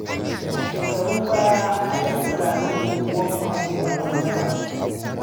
A shekarun baya a 'yan tsirarin unguwanni ake faɗan daba.